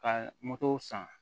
Ka moto san